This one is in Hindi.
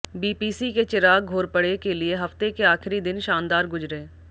बीपीसी के चिराग घोरपड़े के लिए हफ्ते के आखिरी दिन शानदार गुजरे